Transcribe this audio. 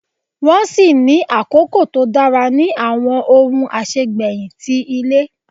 Nwọn si ní akoko to dara ni awọn ohun asegbeyin ti ile.